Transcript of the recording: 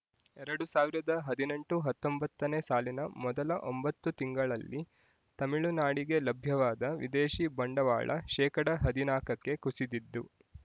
ಎರಡು ಸಾವಿರದ ಹದಿನೆಂಟು ಹತ್ತೊಂಬತ್ತನೇ ಸಾಲಿನ ಮೊದಲ ಒಂಬತ್ತು ತಿಂಗಳಲ್ಲಿ ತಮಿಳುನಾಡಿಗೆ ಲಭ್ಯವಾದ ವಿದೇಶಿ ಬಂಡವಾಳ ಶೇಕಡಾ ಹದಿನಾಕಕ್ಕೆ ಕುಸಿದಿದ್ದು